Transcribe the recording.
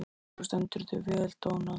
Þú stendur þig vel, Dónald!